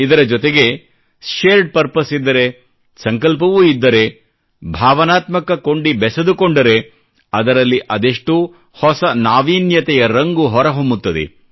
ಇದರ ಜೊತೆಗೆ shared purpose ಇದ್ದರೆ ಸಂಕಲ್ಪವೂ ಇದ್ದರೆ ಭಾವನಾತ್ಮಕ ಕೊಂಡಿ ಬೆಸೆದುಕೊಂಡರೆ ಅದರಲ್ಲಿ ಅದೆಷ್ಟೋ ಹೊಸ ನಾವೀನ್ಯತೆಯ ರಂಗು ಹೊರಹೊಮ್ಮುತ್ತದೆ